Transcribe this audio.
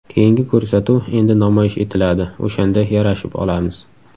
Keyingi ko‘rsatuv endi namoyish etiladi, o‘shanda yarashib olamiz.